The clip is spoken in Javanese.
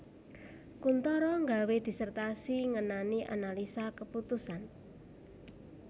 Kuntoro nggawé disertasi ngenani analisa keputusan